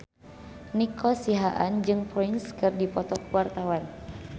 Nico Siahaan jeung Prince keur dipoto ku wartawan